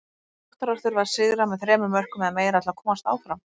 Þróttarar þurfa að sigra með þremur mörkum eða meira til að komast áfram.